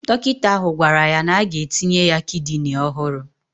Dọkịta ahụ gwara ya na-aga etinye ya kidini ọhụrụ